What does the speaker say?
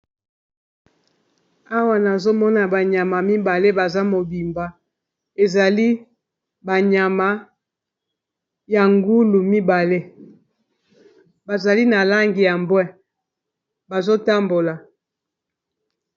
Awa nazomona ba nyama mibale baza mobimba ezali ba nyama ya ngulu mibale bazali na langi ya mbwe bazotambola.